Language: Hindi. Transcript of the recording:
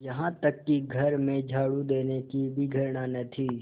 यहाँ तक कि घर में झाड़ू देने से भी घृणा न थी